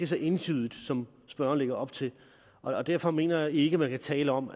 så entydigt som spørgeren lægger op til derfor mener jeg ikke man kan tale om